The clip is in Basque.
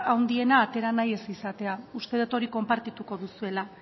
handiena atera ez nahi izatea uste dut hori konpartituko duzuela